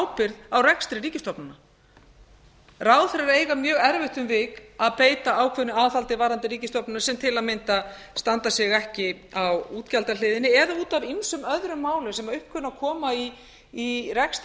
ábyrgð á rekstri ríkisstofnana ráðherrar eiga mjög erfitt um vik að beita ákveðnu aðhaldi varðandi ríkisstofnanir sem til að mynda standa sig ekki á útgjaldahliðinni eða út af ýmsum öðrum málum sem upp kunna að koma í rekstri